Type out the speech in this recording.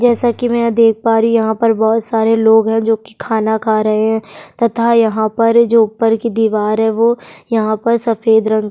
जैसा कि मैं देख पा रही हूँ यहाँ पर बहुत सारे लोग हैं जो कि खाना खा रहे हैं तथा यहाँ पर जो ऊपर की दीवार है वो यहाँ पर सफेद रंग --